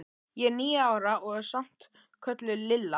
Ég er níu ára og er samt kölluð Lilla.